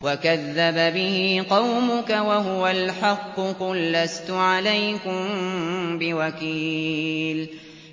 وَكَذَّبَ بِهِ قَوْمُكَ وَهُوَ الْحَقُّ ۚ قُل لَّسْتُ عَلَيْكُم بِوَكِيلٍ